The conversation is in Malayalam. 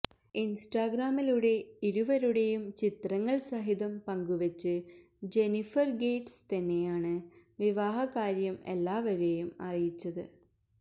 ഇന്സ്റ്റാഗ്രാമിലൂടെ ഇരുവരുടെയും ചിത്രങ്ങള് സഹിതം പങ്കുവെച്ച് ജെന്നിഫര് ഗേറ്റ്സ് തന്നെയാണ് വിവാഹകാര്യം എല്ലാവരെയും അറിയിച്ചത്